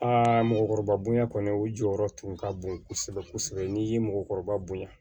Aa mɔgɔkɔrɔba bonya kɔni u jɔyɔrɔ tun ka bon kosɛbɛ kosɛbɛ n'i ye mɔgɔkɔrɔba bonya